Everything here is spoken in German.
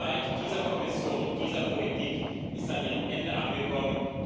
Die Zeit dieser Kommission und dieser Politik ist an ihrem Ende angekommen.